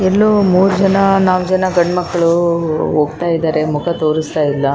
ಜೈ ಮಾತಾಜಿ ಅಂತ ಒಂದು ದೇವಿದು ಹೆಸರು ಬಸ್ ಕೂಡಾ ಈಕಡೆ ನಿಂತಿದೆ ಒಂದು--